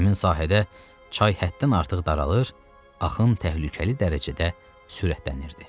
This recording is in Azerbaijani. Həmin sahədə çay həddən artıq daralır, axın təhlükəli dərəcədə sürətlənirdi.